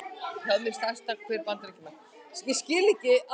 hér má sjá stærsta hver bandaríkjanna